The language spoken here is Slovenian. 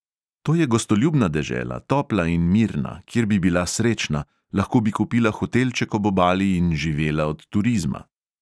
To je gostoljubna dežela, topla in mirna, kjer bi bila srečna, lahko bi kupila hotelček ob obali in živela od turizma.